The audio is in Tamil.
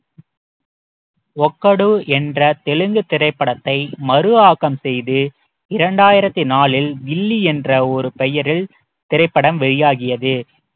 ஒக்கடு என்ற தெலுங்கு திரைப்படத்தை மறு ஆக்கம் செய்து இரண்டாயிரத்தி நாலில் கில்லி என்ற ஒரு பெயரில் திரைப்படம் வெளியாகியது